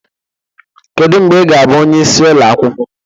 Kedu mgbe ị ga-abụ onyeisi ụlọ akwụkwọ?